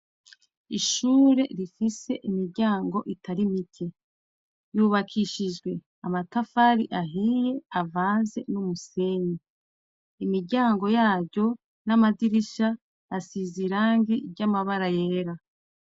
ishure rifise imiryango itari mike yubakishijwe amatafari ahiye avanze n'umusenyi imiryango yaryo n'amadirisha asize irangi ry'amabara yera